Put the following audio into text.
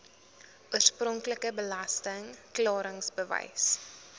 oorspronklike belasting klaringsbewys